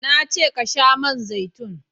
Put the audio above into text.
na ce ka sha man zaitun!